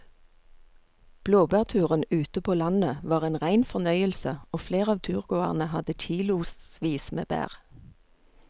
Blåbærturen ute på landet var en rein fornøyelse og flere av turgåerene hadde kilosvis med bær.